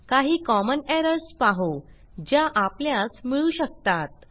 काही common errors पाहू ज्या आपल्यास मिळू शकतात